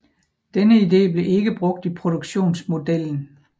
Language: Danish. Denne idé blev ikke brugt i produktionsmodellen